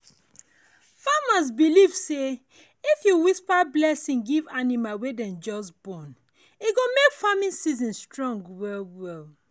farmers believe say if you whisper blessing give animal wey dem just born e go make farming season strong well well.